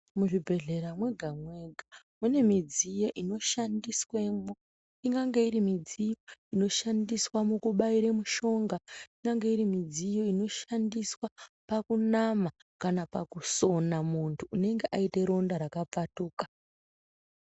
Muzvibhedhlera mwega mwega mune midziyo inoshandiswemwo. Ingange iri midziyo inoshandiswa mukubaire mushonga, ingange iri midziyo inoshandiswa pakunama kana pakusona muntu unenge aite ronda rakapfatuka.